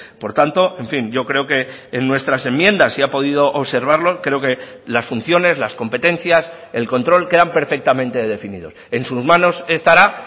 por tanto en fin yo creo que en nuestras enmiendas si ha podido observarlo creo que las funciones las competencias el control quedan perfectamente definidos en sus manos estará